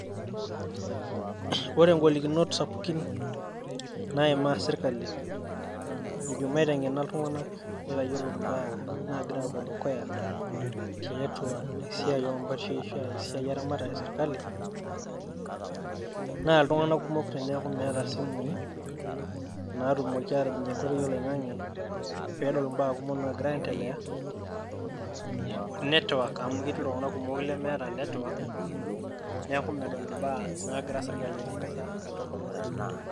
Ore igolikinot sapuki naimaa sirkali ejo maiteng'ena iltung'anak neitayiolo ibaa naagira aapuo dukuya tiatua esiai oompashei eramatare esirkali naa iltung'anak kumok teneeku meeta isimuii naatumoki aatijing'ie enkoitoi oloing'ang'e peedol impaa kumok naagira aendelea I netwak amu ketii iltung'anak kumok lemeeta netwak neeku medol Intokitin naagira sirkali aitangasa katukul' .